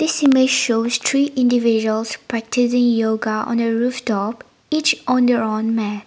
this image shows three individuals practicing yoga on a rooftop each on their own mat.